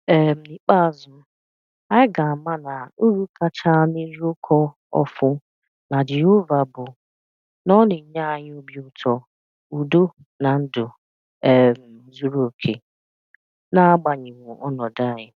um N'ikpeazụ, anyị ga-ama na uru kachanụ n'ịrụkọ ọfụ na Jehova bụ na ọ na-enye anyị obi ụtọ, udo na ndụ um zuru okè, na-agbanyeghi ọnọdụ anyị